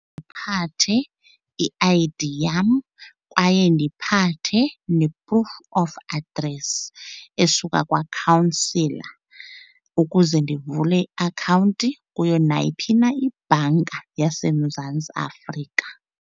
Phathe i-I_D yam kwaye ndiphathe ne-proof of address esuka kwakhawunsila ukuze ndivule iakhawunti kuyo nayiphi na ibhanka yaseMzantsi Afrika.